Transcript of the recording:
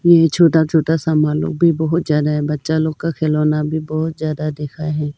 ये छोटा छोटा सामानों को बहुत ज्यादा है बच्चा लोग का खिलौना भी बहुत ज्यादा दिखाएं।